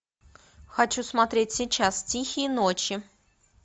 хочу смотреть сейчас тихие ночи